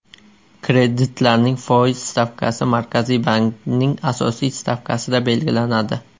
Kreditlarning foiz stavkasi Markaziy bankning asosiy stavkasida belgilanadi.